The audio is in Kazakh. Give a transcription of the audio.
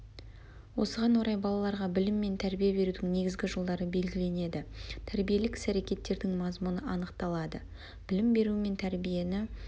осыған орай балаларға білім мен тәрбие берудің негізгі жолдары белгіленеді тәрбиелік іс-әрекеттердің мазмұны анықталады білім беру мен тәрбиені